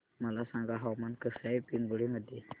मला सांगा हवामान कसे आहे पिंगुळी मध्ये